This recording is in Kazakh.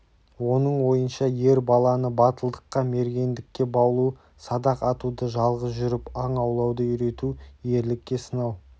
оның ойынша ер баланы батылдыққа мергендікке баулу садақ атуды жалғыз жүріп аң аулауды үйрету ерлікке сынау